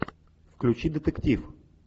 включи детектив